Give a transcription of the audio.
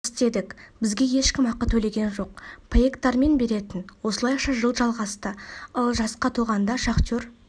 істедік бізге ешкім ақы төлеген жоқ паектармен беретін осылайша жыл жалғасты ал жасқа толғанда шахтер